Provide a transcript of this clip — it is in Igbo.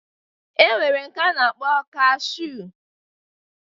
E nwere nke a na-akpọ kashuu